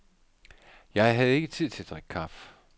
Jeg havde ikke tid til at drikke kaffe.